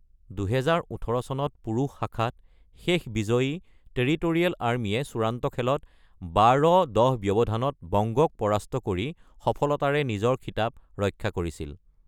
২০১৮ চনত পুৰুষ শাখাত শেষ বিজয়ী টেৰিটৰিয়েল আৰ্মীয়ে চূড়ান্ত খেলত ১২:১০ ব্যৱধানত বংগক পৰাস্ত কৰি সফলতাৰে নিজৰ খিতাপ ৰক্ষা কৰিছিল।